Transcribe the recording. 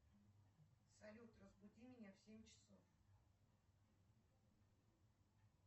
салют разбуди меня в семь часов